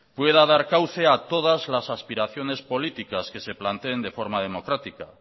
pueda dar cauce a todas las aspiraciones políticas que se planteen de forma democrática